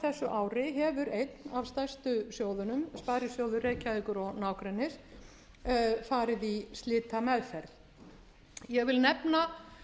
ári hefur einn af stærstu sjóðunum sparisjóður reykjavíkur og nágrennis farið í slitameðferð ég vil nefna